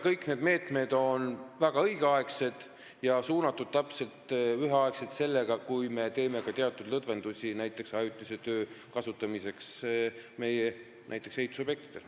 Kõik need meetmed on väga õigeaegsed, sh täpselt üheaegsed sellega, et me teeme ka teatud lõdvendusi ajutise tööjõu kasutamiseks näiteks meie ehitusobjektidel.